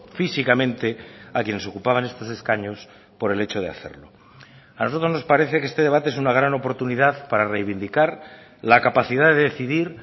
físicamente a quienes ocupaban estos escaños por el hecho de hacerlo a nosotros nos parece que este debate es una gran oportunidad para reivindicar la capacidad de decidir